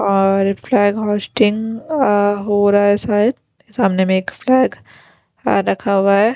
और flag hosting हो रहा है शायद सामने में एक फ्लैग रखा हुआ है।